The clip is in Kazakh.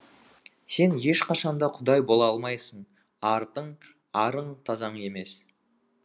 сен ешқашанда құдай бола алмайсың артың арың таза емес